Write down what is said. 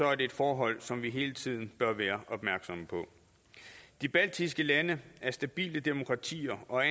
er det et forhold som vi hele tiden bør være opmærksomme på de baltiske lande er stabile demokratier og